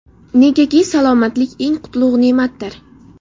Negaki, salomatlik eng qutlug‘ ne’matdir.